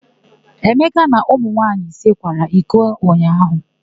Emeka na ụmụ nwaanyị ise kwara iko ụnyaahụ.